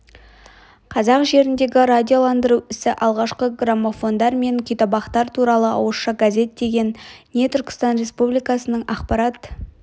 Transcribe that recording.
қазақ жеріндегі радиоландыру ісі алғашқы граммофондар мен күйтабақтар туралы ауызша газет деген не түркістан республикасының ақпарат